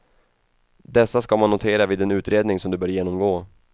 Dessa ska man notera vid den utredning som du bör genomgå.